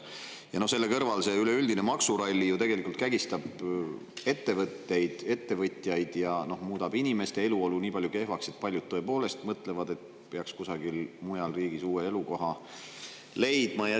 Ja selle kõrval see üleüldine maksuralli kägistab ettevõtteid, ettevõtjaid ja muudab inimeste eluolu nii kehvaks, et paljud tõepoolest mõtlevad, et peaks kusagil mujal riigis uue elukoha leidma.